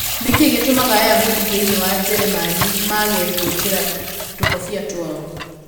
Nĩ kĩĩ gĩtũmaga Ayahudi thĩinĩ wa Njĩrĩmani mage gwĩkĩra tũkũbia twao?